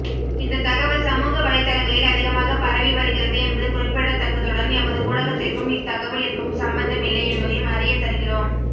இந்த தகவல் சமூக வலைத்தளங்களில் அதிகமாக பரவி வருகிறது என்பது குறிப்பிடத்தக்கதுடன் எமது ஊடகத்திற்கும் இத்தகவலிற்கும் சம்பந்தமில்லை என்பதையும் அறியத்தருகிறோம்